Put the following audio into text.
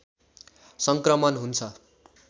सङ्क्रमण हुन्छ